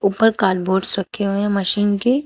ऊपर करबोर्ड्स रखे हुए है मशीन के--